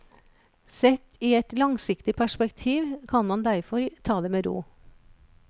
Sett i et langsiktig perspektiv kan man derfor ta det med ro.